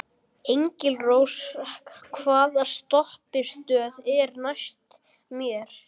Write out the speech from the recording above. Engilrós, hvaða stoppistöð er næst mér?